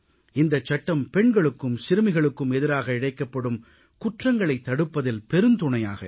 இந்தச் சட்டம் பெண்களுக்கும் சிறுமிகளுக்கும் எதிராக இழைக்கப்படும் குற்றங்களைத் தடுப்பதில் பெருந்துணையாக இருக்கும்